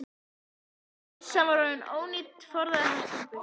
Þegar byssan var orðin ónýt forðaði hann sér burt.